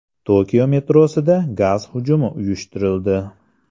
Tokio metrosida gaz hujumi uyushtirildi.